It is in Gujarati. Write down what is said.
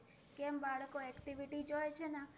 કેમ? બાળકો activity જોઈ છેને હમ તો એના